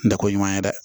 Dako ɲuman ye dɛ